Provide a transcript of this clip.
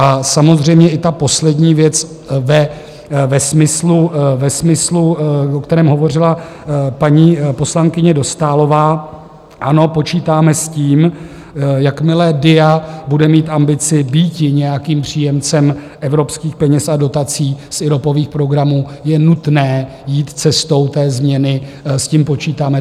A samozřejmě i ta poslední věc ve smyslu, o kterém hovořila paní poslankyně Dostálová: ano, počítáme s tím, jakmile DIA bude mít ambici býti nějakým příjemcem evropských peněz a dotací z IROPových programů, je nutné jít cestou té změny, s tím počítáme.